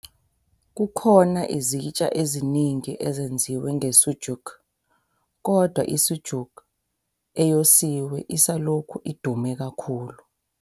Kukhona izitsha eziningi ezenziwe nge-sucuk, kodwa i-sucuk eyosiwe isalokhu idume kakhulu.